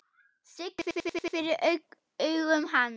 Sigga verður fyrir augum hans.